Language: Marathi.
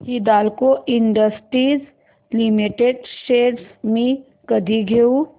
हिंदाल्को इंडस्ट्रीज लिमिटेड शेअर्स मी कधी घेऊ